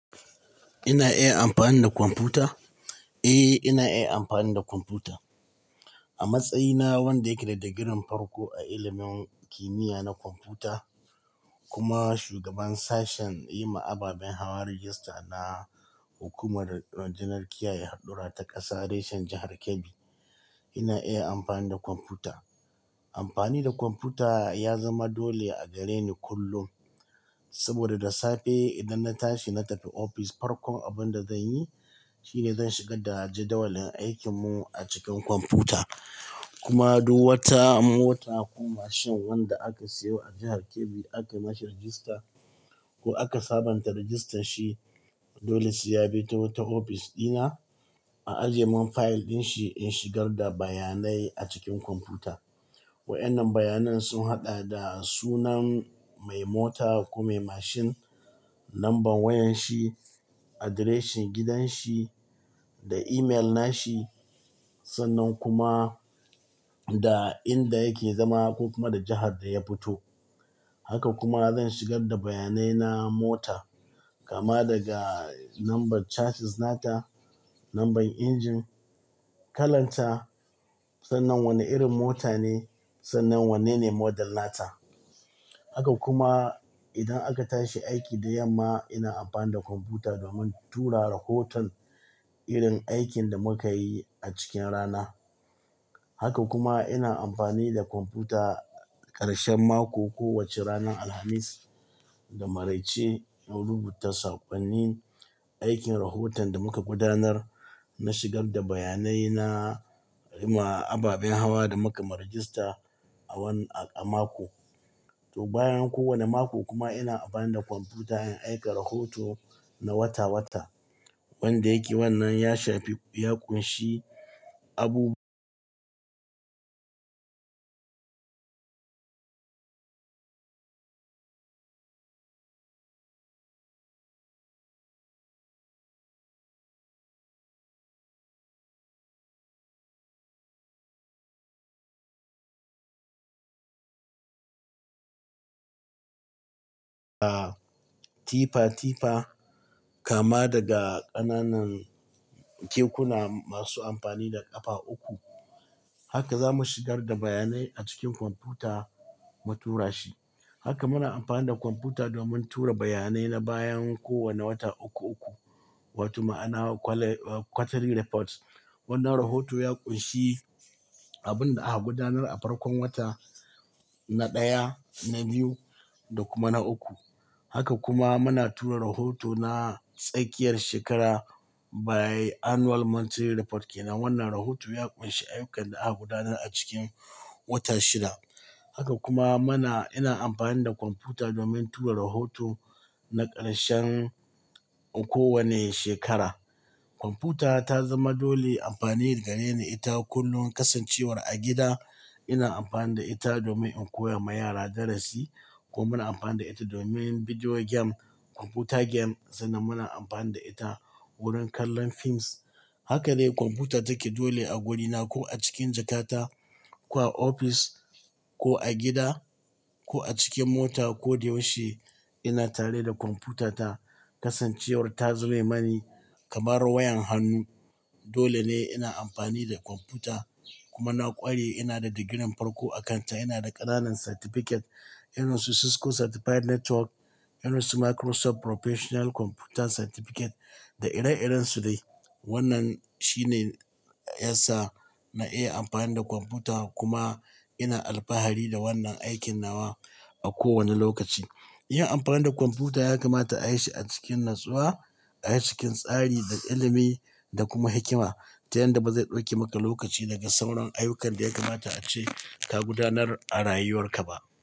Ina iya amfani da kwamfuta? Eh, ina iya amfani da kwamfuta. A matsayina wanda yake da digirin farko a ilimin kimiyya na kwamfuta kuma shugaban sashen yi ma ababen hawa rajista na hukumar janar kiya ya hadura ta ƙasa reshen jahar Kebbi. Ina iya amfani da kwamfuta. Amfani da kwamfuta ya zama dole a gare ni kullum. Saboda da safe idan na tashi na tafi ofis, farkon abin da zan yi shine zan shigar da jadawalin aikin mu a cikin kwamfuta. Kuma duk wata mota ko mashin wanda aka siyo a jahar Kebbi aka mashi rajista ko aka sabunta rajistan shi, dole su ya bi ta ofis dina a ajiye min fayil din shi in shigar da bayanai a cikin kwamfuta. Wa'ennan bayanan sun haɗa da sunan mai mota ko mai mashin, lambar wayan shi, adireshin gidan shi da imel na shi sannan kuma da inda yake zama ko kuma da jahar da ya fito. Haka kuma zan shigar da bayanai na mota kama daga nambar charges nata, lambar injin, kalan ta, sannan wane irin mota ne sannan wanene model nata. Haka kuma idan aka tashi aiki da yamma, ina amfani da kwamfuta domin tura rahoton irin aikin da muka yi a cikin rana. Haka kuma ina amfani da kwamfuta ƙarshen mako kowace ranar Alhamis, da maraice, in rubuta saƙonnin aikin rahoton da muka gudanar. Na shigar da bayanai na, gama ababen hawa da muka ma rajista a wannan-- a mako. To, bayan kowane mako kuma ina amfani da kwamfuta in aika rahoto na wata wata. Wanda yake wannan ya shafi ko ya ƙunshi abu-- kama daga ƙananan kekuna masu amfani da ƙafa uku. Haka zamu shigar da bayanai a cikin kwamfuta mu tura shi. Haka muna amfani da kwamfuta domin tura bayanai na bayan kowane wata uku uku. Wato ma ana kwale-- quarterly report. Wannan rahoto ya ƙunshi abin da aka gudanar a farkon wata na ɗaya, na biyu da kuma na uku. Haka kuma muna tura rahoto na tsakiyar shekara by annual monitoring report ke nan. Wannan rahoto ya ƙunshi ayyukan da aka gudanar a cikin wata shida. Haka kuma muna-- ina amfani da kwamfuta domin tura rahoto na ƙarshen kowane shekara. Kwamfuta ta zama dole amfani da gareni ita kullum. Kasancewar a gida ina amfani da ita domin in koya ma yara darasi ko muna amfani da ita domin bidiyo game, kwamfuta game sannan muna amfani da ita wurin kallon films. Haka dai kwamfuta take dole a gorina ko a cikin jakata ko a ofis ko a gida ko a cikin mota. Ko da yaushe ina tare da kwamfutata. Kasancewar ta zame mani kamar wayan hannu. Dole ne ina amfani da kwamfuta kuma na ƙware. Ina da digirin farko a kanta. Ina da ƙananan certificate. Irin su Cisco Certified Network, irin su Microsoft Professional Computer Certificate da ire iren su dai. Wannan shine yasa na iya amfani da kwamfuta kuma ina alfahari da wannan aikin na wa a kowane lokaci. Yin amfani da kwamfuta ya kamata ayi shi a cikin natsuwa, a cikin tsari da ilimi da kuma hikima, ta yanda baza ɗauki maka lokaci daga sauran ayyukan da ya kamata ace ta gudanar a rayuwar ka ba.